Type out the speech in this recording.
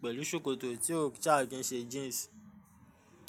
pẹ̀lú ṣòkòtò tí ó sa kín ṣẹ́ jeans.